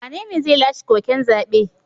Wanene zai lashe koken zabe?